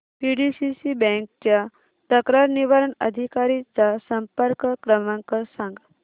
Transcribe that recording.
PDCC bank च्या तक्रार निवारण अधिकारी चा संपर्क क्रमांक सांग